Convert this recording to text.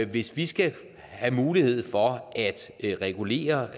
hvis vi skal have mulighed for at regulere